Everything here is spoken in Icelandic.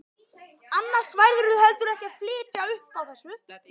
Annars værirðu heldur ekki að fitja upp á þessu.